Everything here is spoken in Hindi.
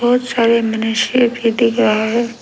बहुत सारे मनुष्य भी दिख रहा है।